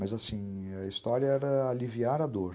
Mas, assim, a história era aliviar a dor.